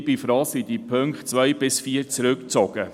Ich bin froh, sind die Punkte 2–4 zurückgezogen.